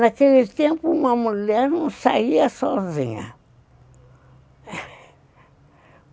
Naquele tempo, uma mulher não saía sozinha.